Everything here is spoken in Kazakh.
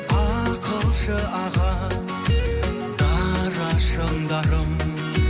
ақылшы аға дара шыңдарым